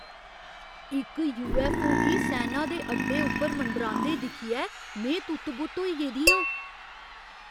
इक यूऐफ्फओ गी सैना दे अड्डे उप्पर मंडरांदे दिक्खियै में तुत्त बुत्त होई गेदी आं।